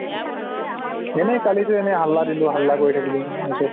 এনে কালিতো এনে হাল্লা দিলো হাল্লা কৰি থাকিলো পাছত